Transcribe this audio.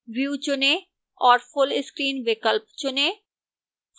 view चुनें और full screen विकल्प चुनें